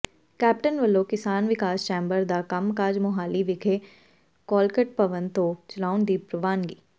captain ਵੱਲੋਂ Kisan Vikas chamber ਦਾ ਕੰਮਕਾਜ ਮੋਹਾਲੀ ਵਿਖੇ ਕਾਲਕਟ ਭਵਨ ਤੋਂ ਚਲਾਉਣ ਦੀ ਪ੍ਰਵਾਨਗੀ